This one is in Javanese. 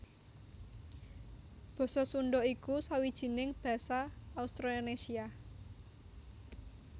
Basa Sundha iku sawijining basa Austronésia